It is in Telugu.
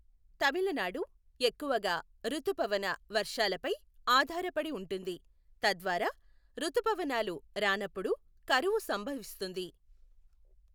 తమిళనాడు ఎక్కువగా రుతుపవన వర్షాలపై ఆధారపడి ఉంటుంది, తద్వారా రుతుపవనాలు రానప్పుడు కరువు సంభవిస్తుంది.